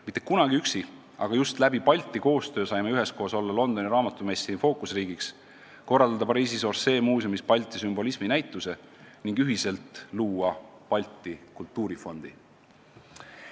Mitte kunagi üksi, aga just tänu Balti koostööle saime üheskoos olla Londoni raamatumessi fookusriigiks, korraldada Pariisis Orsay muuseumis Balti sümbolismi näituse ning ühiselt luua Balti Kultuurifondi.